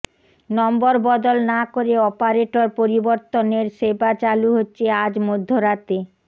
নম্বর বদল না করে অপারেটর পরিবর্তনের সেবা চালু হচ্ছে আজ মধ্যরাতে